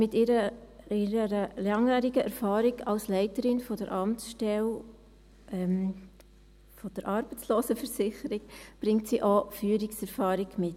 Mit ihrer langjährigen Erfahrung als Leiterin der Amtsstelle Arbeitslosenversicherung bringt sie auch Führungserfahrung mit.